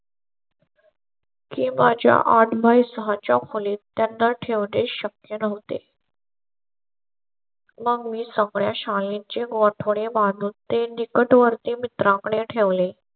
किंवा च्या आठ सहाच्या खोलीत त्यांना ठेवणे शक्य नव्हते. मग मी सगळ्या शाळांचे वाढून ते निकटवर्तीय मित्राकडे ठेवले.